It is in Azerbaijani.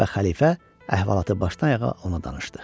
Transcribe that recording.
Və xəlifə əhvalatı başdan-ayağa ona danışdı.